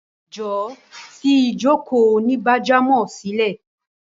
Jọ̀wọ́ fi ìjókòó onígbájámò sílẹ̀!